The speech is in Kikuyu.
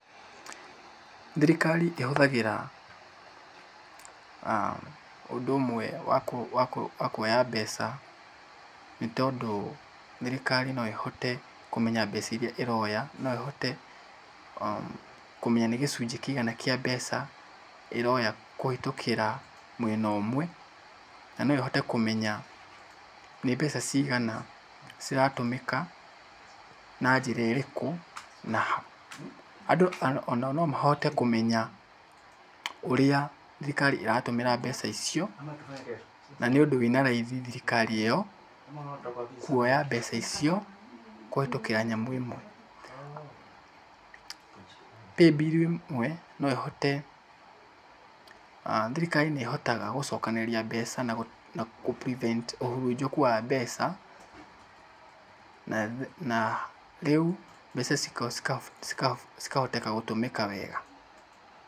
Thirikari ĩhũthagĩra ũndũ ũmwe wa kuoya mbeca nĩ tondũ thirikari no ĩhote kũmenya mbeca irĩa ĩroya, no ĩhote kũmenya nĩ gĩcunjĩ kĩigana kĩa mbeca ĩroya kũhĩtũkĩra mwena ũmwe. Na no ĩhote kũmenya nĩ mbeca cigana ciratũmĩka na njĩra ĩrĩkũ na andũ ona o no mahote kũmenya ũrĩa thirikari ĩratũmĩra mbeca icio. Na nĩ ũndũ wĩna raithi thirikari ĩyo kuoya mbeca icio kũhĩtũkĩra nyamũ ĩmwe. Paybill ĩmwe no ĩhote thirikari nĩ ĩhotaga gũcokanĩrĩria mbeca na gũ prevent ũhurunjũku wa mbeca na rĩu mbeca cĩkahoteka gũtũmĩka wega.